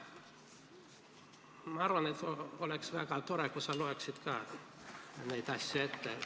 Ma arvan, et oleks väga tore, kui sa loeksid ka need asjad ette.